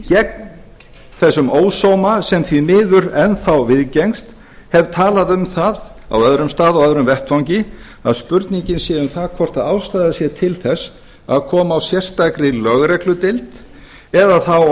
gegn þessum ósóma sem því miður enn þá viðgengst hef talað um það á öðrum stað og öðrum vettvangi að spurningin sé um það hvort ástæða sé til þess að koma á sérstakri lögregludeild eða þá